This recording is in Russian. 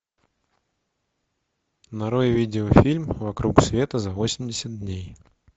нарой видеофильм вокруг света за восемьдесят дней